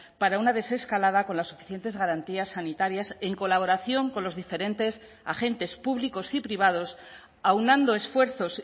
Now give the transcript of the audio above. para una desescalada con las suficientes garantías sanitarias en colaboración con los diferentes agentes públicos y privados aunando esfuerzos